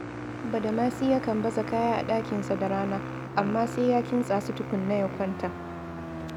Badamasi yakan baza kaya a ɗakinsa da rana, amma sai ya kintsa su tukuna ya kwanta